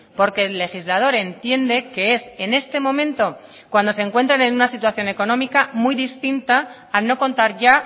porque el legislador entiende que es en este momento cuando se encuentran en una situación económica muy distinta al no contar ya